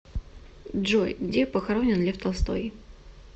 джой где похоронен лев толстой